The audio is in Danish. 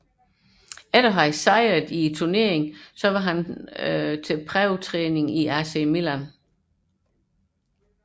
Efter turneringssejren var han til prøvetræning i AC Milan